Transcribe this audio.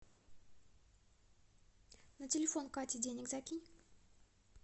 на телефон кате денег закинь